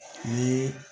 Ni